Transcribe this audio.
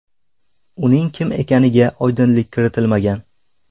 Uning kim ekaniga oydinlik kiritilmagan.